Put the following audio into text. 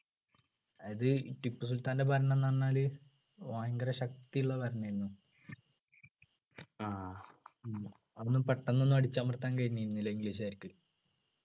അത് ടിപ്പുസുൽത്താൻ്റെ ഭരണം എന്ന് പറഞ്ഞാൽ ഭയങ്കര ശക്തിയുള്ള ഭരണമായിരുന്നു അതൊന്നും പെട്ടെന്ന് ഒന്നും അടിച്ചമർത്താൻ കഴിഞ്ഞിരുന്നില്ല english കാർക്ക്.